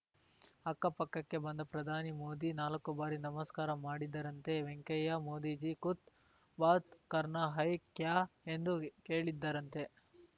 ಅಕ್ಕ ಪಕ್ಕಕ್ಕೆ ಬಂದ ಪ್ರಧಾನಿ ಮೋದಿ ನಾಲ್ಕು ಬಾರಿ ನಮಸ್ಕಾರ ಮಾಡಿದರಂತೆ ವೆಂಕಯ್ಯ ಮೋದಿಜಿ ಕುಚ್‌ ಬಾತ್‌ ಕರನಾ ಹೈ ಕ್ಯಾ ಎಂದು ಕೇಳಿದ್ದರಂತೆ